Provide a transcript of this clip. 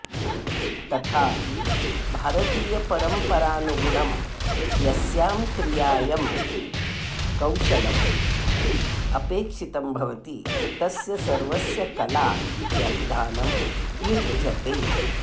तथापि भारतीयपरम्परानुगुणं यस्यां क्रियायं कौशलम् अपेक्षितं भवति तस्य सर्वस्य कला इति अभिधानं युज्यते